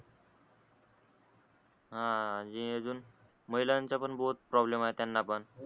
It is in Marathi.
हा आणि अजून महिलांचा पण प्रॉब्लेम त्याना पण